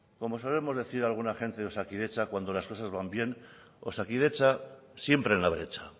como solemos decir alguna gente de osakidetza cuando las cosas van bien osakidetza siempre en la brecha